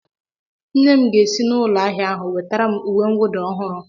Nne m ga-esi na ụlọ ahịa ahụ nwetara m uwe nwụda ọhụrụ